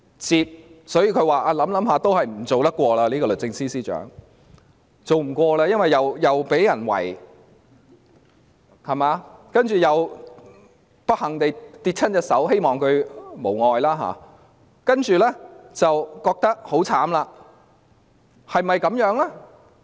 是否經考慮後認為還是別當律政司司長了，因為既會被人包圍，又不幸跌傷手部——我希望她無礙——所以覺得自己很可憐？